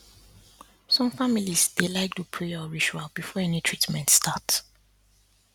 some families dey like do prayer or ritual before any treatment start